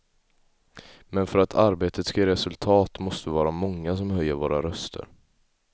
Men för att arbetet ska ge resultat måste vi vara många som höjer våra röster.